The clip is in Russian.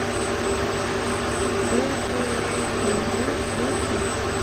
кхл тв включить